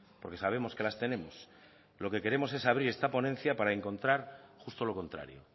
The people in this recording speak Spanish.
porque sabemos que las tenemos lo que queremos es abrir esta ponencia para encontrar justo lo contrario